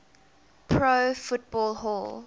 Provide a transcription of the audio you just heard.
pro football hall